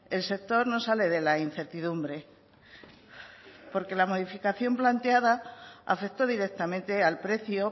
el sector no sale de la incertidumbre porque la modificación planteada afectó directamente al precio